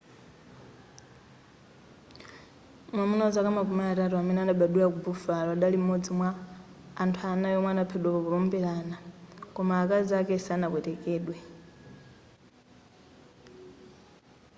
mwamuna wa zaka makumi atatu amene adabadwila ku buffalo adali m'modzi mwa anthu anayi omwe adaphedwa powombelana koma akazi ake sanapwetekedwe